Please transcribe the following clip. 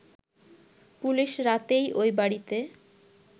police রাতেই ওই বাড়িতে